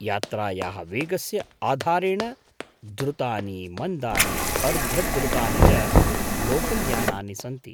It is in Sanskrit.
यात्रायाः वेगस्य आधारेण द्रुतानि, मन्दानि, अर्धद्रुतानि च लोकल्यानानि सन्ति।